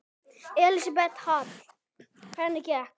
Elísabet Hall: Hvernig gekk?